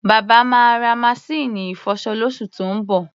Bàbá máa ra maṣíìnì ìfọṣọ lóṣù tó ń bọ̀.